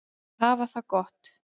Þær hafa það gott.